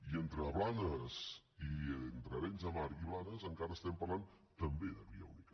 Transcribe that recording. i entre arenys de mar i blanes encara estem parlant també de via única